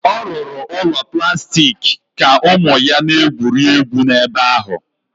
Ọ rụrụ ụlọ plastik ka ụmụ ya na-egwuri egwu n'ebe ahụ